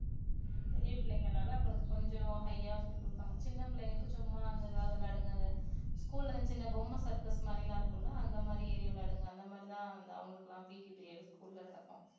பெரிய பிள்ளைங்கனால அவங்களுக்கு கொஞ்சம் high யா சொல்லி குடுப்பாங்க சின்ன பிள்ளைங்களுக்கு சும்மா அந்த ஏதாவது விளையாடுங்க அத school ல சின்ன பொம்மை circus மாதிரிலாம் இருக்கும்ல்ல அந்த மாதிரி ஏறி விளையாடுங்க அந்த மாதிரி தான் அவங்களுக்கெல்லாம் PT period school ல நடக்கும்